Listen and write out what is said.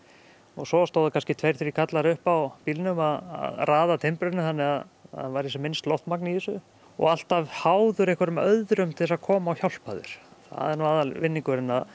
svo stóðu kannski tveir þrír karlar uppi á bílnum að raða timbrinu þannig að það væri sem minnst loftmagn í þessu og alltaf háður einhverjum öðrum til að koma og hjálpa þér það er nú aðalvinningurinn að